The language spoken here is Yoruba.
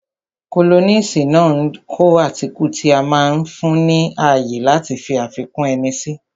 Kólọ́nisi máa ń kọ átíkù tí ó máa ń fún ni ní ààyè láti fi àfikún ẹni si